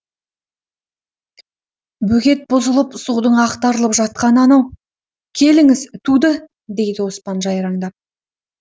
бөгет бұзылып судың ақтарылып жатқаны анау келіңіз туды дейді оспан жайраңдап